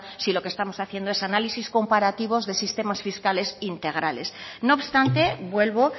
si lo que estamos haciendo es análisis comparativos de sistemas fiscales integrales no obstante vuelvo